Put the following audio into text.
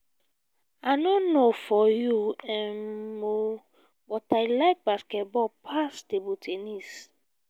i no know for you um oo but i like basketball pass table ten nis